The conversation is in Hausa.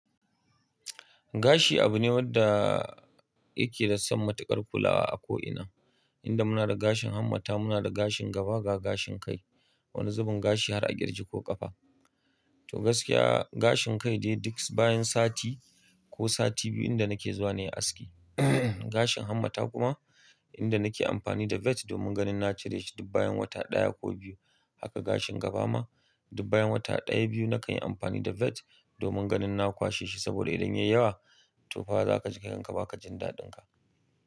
Gashi abu ne wanda yake da san matuƙar kulawa a ko ina. Inda muna da gashin hammata, muna da gashin gaba ga gashin kai. Wani zubin gashi har a ƙirji ko ƙafa. To gaskiya gashin kai dai duk bayan sati ko sati biyu inda nake zuwa ne aski. Gashin hammata kuma inda nake amfani da vet domin ganin na cire shi dukbayan wata ɗaya ko biyu. Haka gashin gaba ma dubbayan wata ɗaya biyu nakan yi amfani da vet domin ganin na kwashe shi. Saboda idan yayi yawa, to fa za ka ji kanka ba ka jin daɗinka.